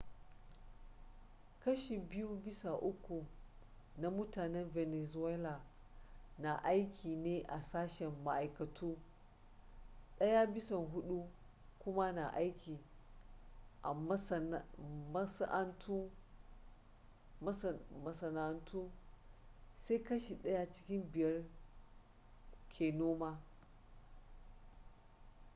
kashi biyu bisa uku na mutanen venezuela na aiki ne a sashen ma’aikatu daya bisa hudu kuma na aiki a masana’antu, sai kashi daya cikin biyar da ke noma